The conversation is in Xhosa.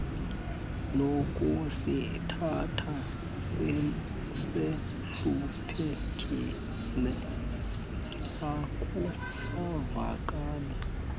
lokusithatha sihluphekile akusavakali